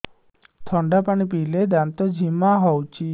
ଥଣ୍ଡା ପାଣି ପିଇଲେ ଦାନ୍ତ ଜିମା ହଉଚି